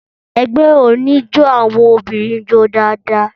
Ẹgbẹ́ oníjó àwọn obìnrin jó dáadáa.